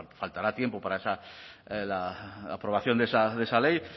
faltará tiempo para esa la aprobación de esa ley